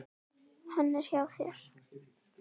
Hann er hjá þér.